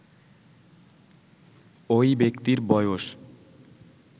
ওই ব্যক্তির বয়স